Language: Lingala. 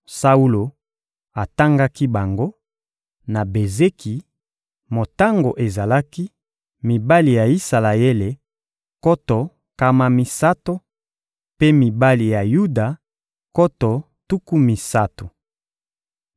Saulo atangaki bango, na Bezeki; motango ezalaki: mibali ya Isalaele nkoto nkama misato, mpe mibali ya Yuda nkoto tuku misato.